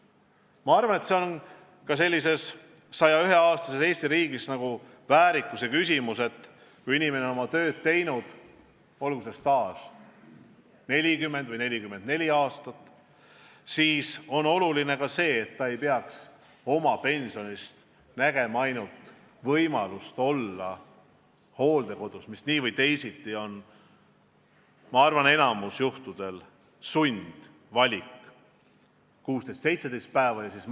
Ma arvan, et see on ka 101-aastases Eesti riigis väärikuse küsimus: kui inimene on kogu elu tööd teinud, olgu tema staaž 40 või 44 aastat, aga tema pension võimaldab tal olla hooldekodus, mis nii või teisiti on enamikul juhtudel sundvalik, vaid 16–17 päeva kuus.